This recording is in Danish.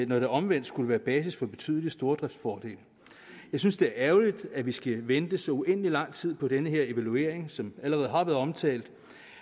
når det omvendt skulle være basis for betydelige stordriftsfordele jeg synes det er ærgerligt at vi skal vente så uendelig lang tid på den her evaluering som allerede har været omtalt